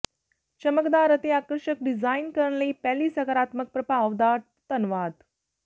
ਚਮਕਦਾਰ ਅਤੇ ਆਕਰਸ਼ਕ ਡਿਜ਼ਾਈਨ ਕਰਨ ਲਈ ਪਹਿਲੀ ਸਕਾਰਾਤਮਕ ਪ੍ਰਭਾਵ ਦਾ ਧੰਨਵਾਦ